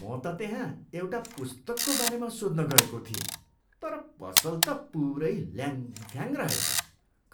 म त त्यहाँ एउटा पुस्तकको बारेमा सोध्न गएको थिएँ। तर पसल त पुरै ल्याङ्फ्याङ रेहछ।